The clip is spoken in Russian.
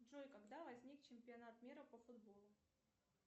джой когда возник чемпионат мира по футболу